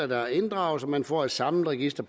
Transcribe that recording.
der er inddraget så man får et samlet register